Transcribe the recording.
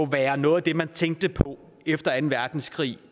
være noget af det man tænkte på efter anden verdenskrig